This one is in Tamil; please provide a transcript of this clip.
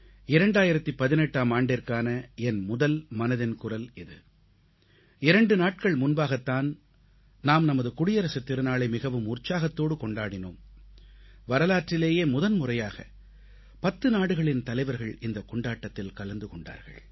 2018ஆம் ஆண்டிற்கான என் முதல் மனதின் குரல் இது 2 நாட்கள் முன்பாகத் தான் நாம் நமது குடியரசுத் திருநாளை மிகவும் உற்சாகத்தோடு கொண்டாடினோம் வரலாற்றிலேயே முதன்முறையாக பத்து நாடுகளின் தலைவர்கள் இந்தக் கொண்டாட்டத்தில் கலந்து கொண்டார்கள்